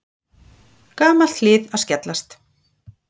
Gamalt hlið að skellast.